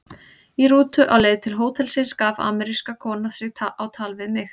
Í rútu á leið til hótelsins gaf amerísk kona sig á tal við mig.